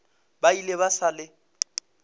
ba ile ba sa le